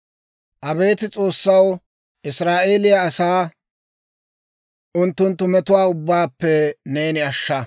Abeet S'oossaw, Israa'eeliyaa asaa unttunttu metuwaa ubbaappe neeni ashsha.